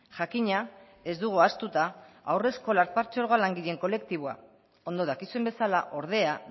jakina ez dugu ahaztuta haurreskola patzuergoak langileen kolektiboa ondo dakizuen bezala ordea